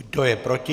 Kdo je proti?